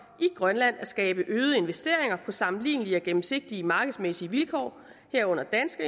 i grønland at skabe øgede investeringer på sammenlignelige og gennemsigtige markedsmæssige vilkår herunder danske